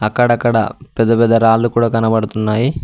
అక్కడక్కడ పెద్ద పెద్ద రాళ్ళు కూడా కనబడుతున్నాయి.